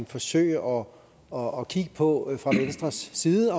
forsøge og og kigge på fra venstres side